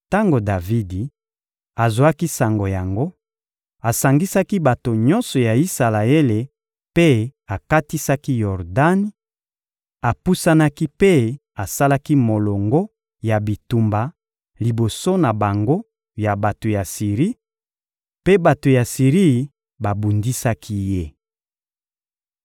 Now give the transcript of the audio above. Tango Davidi azwaki sango yango, asangisaki bato nyonso ya Isalaele mpe akatisaki Yordani; apusanaki mpe asalaki molongo ya bitumba liboso na bango ya bato ya Siri, mpe bato ya Siri babundisaki ye.